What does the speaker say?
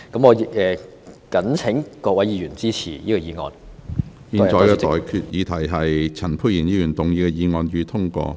我現在向各位提出的待決議題是：陳沛然議員動議的議案，予以通過。